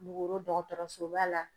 Kulukoro dɔgɔtɔrɔsoba la.